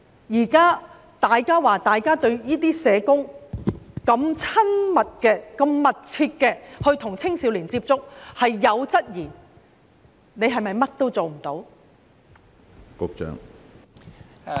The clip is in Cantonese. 現時當大家對社工與青少年有密切接觸有所質疑時，局長是否甚麼都做不到？